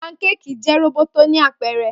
Pankéèkì jẹ roboto ni apẹrẹ.